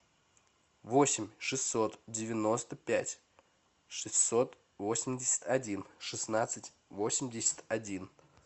восемь шестьсот девяносто пять шестьсот восемьдесят один шестнадцать восемьдесят один